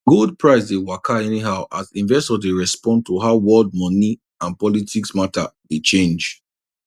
gold price dey waka anyhow as investors dey respond to how world moni and politics matter dey change